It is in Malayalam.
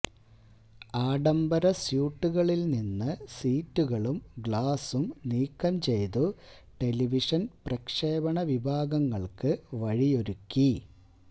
ആഡംബര സ്യൂട്ടുകളിൽ നിന്ന് സീറ്റുകളും ഗ്ലാസും നീക്കം ചെയ്തു ടെലിവിഷൻ പ്രക്ഷേപണവിഭാഗങ്ങൾക്ക് വഴിയൊരുക്കി